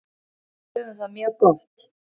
Við höfum það mjög gott.